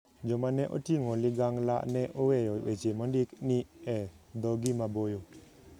Joma ne oting'o ligangla ne oweyo weche mondik ni " e dhogi maboyo".